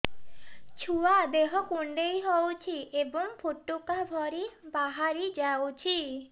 ଛୁଆ ଦେହ କୁଣ୍ଡେଇ ହଉଛି ଏବଂ ଫୁଟୁକା ଭଳି ବାହାରିଯାଉଛି